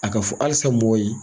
A ka fɔ halisa mɔgɔw ye.